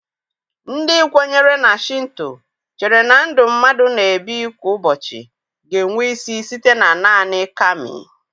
Ndị kwenyere na Shịnto chere na ndụ mmadụ na-ebi kwa ụbọchị ga-enwe isi site na nanị Kami.